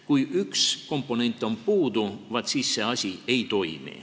Kui üks komponent on puudu, siis see asi ei toimi.